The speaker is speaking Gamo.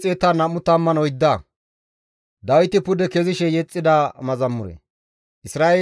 Isra7eeley, «GODAY nunara donttaakko nu waananee?